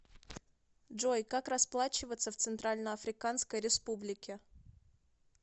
джой как расплачиваться в центральноафриканской республике